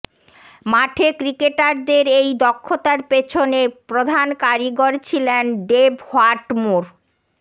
মাঠে ক্রিকেটারদের এই দক্ষতার পেছনে প্রধান কারিগর ছিলেন ডেভ হোয়াটমোর